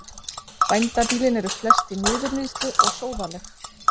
Bændabýlin eru flest í niðurníðslu og sóðaleg.